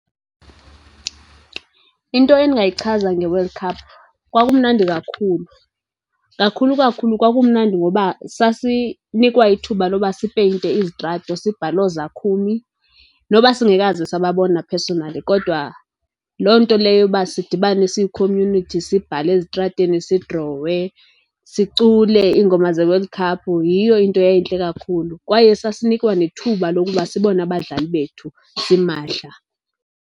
Into endingayichaza ngeWorld Cup kwakumnandi kakhulu. Kakhulu, kakhulu kwakumnandi ngoba sasinikwa ithuba loba sipeyinte izitrato, sibhale ooZakumi noba singekaze sababona personally, kodwa loo nto leyo uba sidibane siyi-community sibhale ezitratweni, sidrowe, sicule iingoma zeWorld cup yiyo into eyayintle kakhulu. Kwaye sasinikwa nethuba lokuba sibone abadlali bethu simahla.